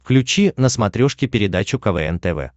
включи на смотрешке передачу квн тв